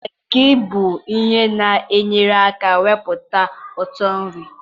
Maggi bụ ihe na-enyere aka iwepụta ụtọ nri.